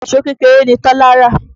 Ìṣó kékeré ni Tọ́lá rà.